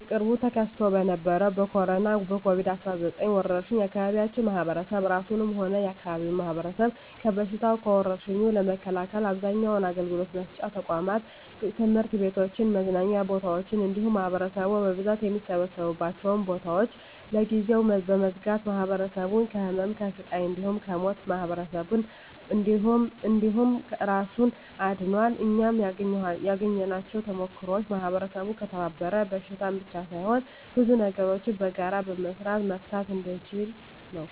በቅርቡ ተከስቶ በነበረዉ በኮሮና(ኮቪድ 19) ወረርሽ የአካባቢያችን ማህበረሰብ እራሱንም ሆነ የአካባቢውን ማህበረሰብ ከበሽታዉ (ከወርሽኙ) ለመከላከል አብዛኛዉን አገልግሎት መስጫ ተቋማት(ትምህርት ቤቶችን፣ መዝናኛ ቦታወችን እንዲሁም ማህበረሰቡ በብዛት የሚሰበሰብባቸዉን ቦታወች) ለጊዜዉ በመዝጋት ማህበረሰቡን ከህመም፣ ከስቃይ እንዲሁም ከሞት ማህበረሰብን እንዲሁም እራሱን አድኗል። እናም ያገኘኋቸዉ ተሞክሮወች ማህበረሰቡ ከተባበረ በሽታን ብቻ ሳይሆን ብዙ ነገሮችን በጋራ በመስራት መፍታት እንደሚችል ነዉ።